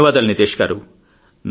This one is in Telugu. ధన్యవాదాలు నీతేష్ గారూ